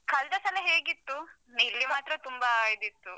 ಕಳ್ದ ಸಲ ಹೇಗಿತ್ತು? ಇಲ್ಲಿ ಮಾತ್ರ ತುಂಬಾ ಇದಿತ್ತು.